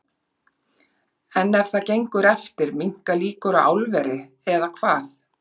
En ef það gengur eftir minnka líkur á álveri, eða hvað?